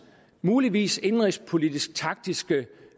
muligvis indenrigspolitiske taktiske